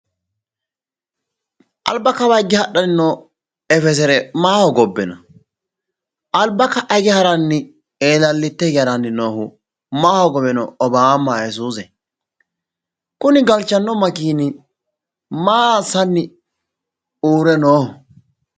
Alba kawa higge no effesere maa hogobbe no? Alba ka"a hige haranni eelallite haranni noohu maa hogowe no obaama ayisuuze? Kuni galchanno makeenni maa assanni uurre nooho?